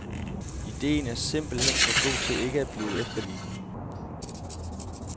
Ideen er simpelt hen for god til ikke at blive efterlignet.